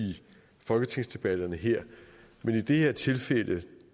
folketingsdebatterne her men i det her tilfælde er